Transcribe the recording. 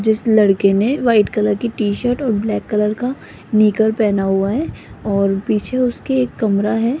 जिस लड़के ने व्हाइट कलर की टी शर्ट और ब्लैक कलर का निकर पहना हुआ है और पीछे उसके एक कमरा है।